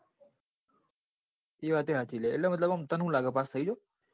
એ વાત એ સાચી લ્યા એટલે તને શું લાગે pass થઇ જાઓ.